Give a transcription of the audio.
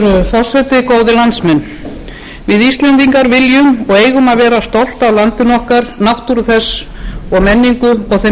af landinu okkar náttúru þess og menningu og þeim kostum sem búa í landi